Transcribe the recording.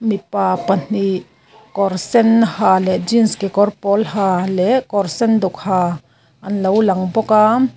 mipa pahnih kawr sen ha leh jeans kekawr pawl ha leh kawr senduk ha anlo lang bawk a.